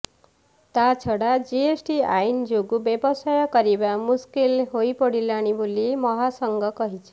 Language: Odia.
ତାଛଡ଼ା ଜିଏସ୍ଟି ଆଇନ ଯୋଗୁଁ ବ୍ୟବସାୟ କରିବା ମୁସ୍କିଲ ହୋଇପଡ଼ିଲାଣି ବୋଲି ମହାସଂଘ କହିଛି